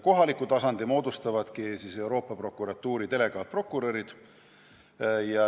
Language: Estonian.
Kohaliku tasandi moodustavadki Euroopa Prokuratuuri delegaatprokurörid.